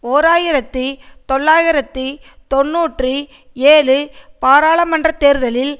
ஓர் ஆயிரத்தி தொள்ளாயிரத்தி தொன்னூற்றி ஏழு பாராளுமன்ற தேர்தலில்